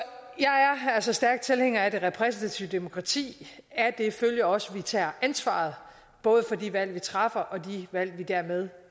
altså stærk tilhænger af det repræsentative demokrati af det følger også at vi tager ansvaret både for de valg vi træffer og de valg vi dermed